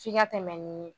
F'i ka tɛmɛ ni